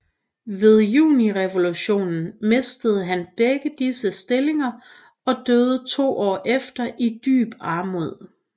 Ved Julirevolutionen mistede han begge disse stillinger og døde to år efter i dyb armod